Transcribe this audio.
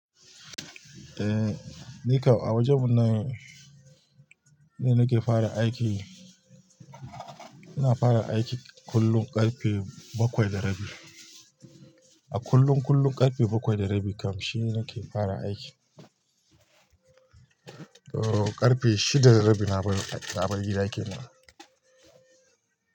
Eh, nikan a wajen mun nan nine nake fara aiki. Ina fara aiki kullum ƙarfe bakwai da rabi. A kullum--kullum ƙarfe bakwai da rabi kamsi nake fara aiki. O ƙarfe shida da rabi na bar ai--, na bar gida kenan.